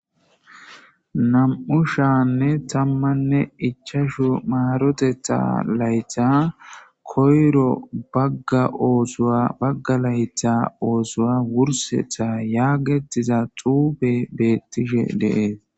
Nam'u shanne tammanne ichashu maaroteta layta koyro bagga oosowa bagga layta oosoa wursetha yaagetiza xuube beettishe dee.